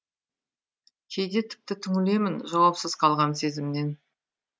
кейде тіпті түңілемін жауапсыз қалған сезімнен